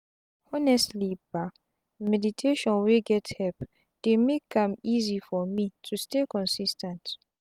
honestli bah meditations wey get help dey make am easy for me to stay consis ten t.